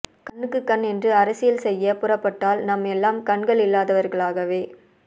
கண்ணுக்கு கண் என்று அரசியல் செய்யப் புறப்பட்டால் நாம் எல்லாம் கண்பல் இல்லாதவர்களாகவே